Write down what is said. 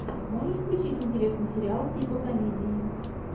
можешь включить интересный сериал типа комедии